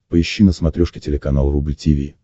поищи на смотрешке телеканал рубль ти ви